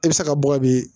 E bɛ se ka bɔ ka bin